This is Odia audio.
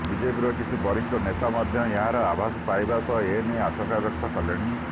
ବିଜେପିର କିଛି ବରିଷ୍ଠ ନେତା ମଧ୍ୟ ଏହାର ଆଭାସ ପାଇବା ସହ ଏ ନେଇ ଆଶଙ୍କା ବ୍ୟକ୍ତ କଲେଣି